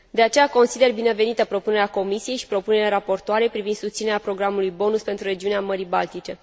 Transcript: De aceea, consider binevenită propunerea Comisiei și propunerea raportoarei privind susținerea programului BONUS pentru regiunea Mării Baltice.